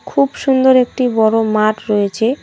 খুব সুন্দর একটি বড় মাঠ রয়েছে।